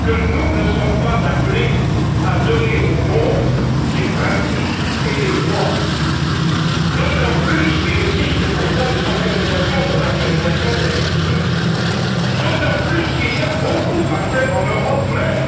que nous ne sommes pas appelés à donner au monde des principes et des lois, d'autant plus qu'il existe pour cela des organisations, comme l'Organisation des Nations unies, d'autant plus qu'il y a beaucoup à faire en Europe même,